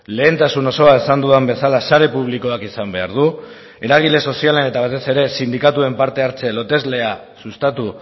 lehentasun osoa esan dudan bezala sare publikoak izan behar du eragile sozialen eta batez ere sindikatuen parte hartze loteslea sustatu